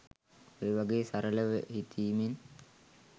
ඔය වගේ සරලව හිතීමෙන්